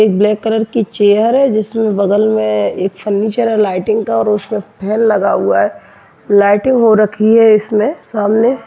एक black colour की chair है जिसमे बगल में एक फर्नीचर है लाइटिंग का और फैन लगा हुआ है लाइटिंग हो रखी है इसमें।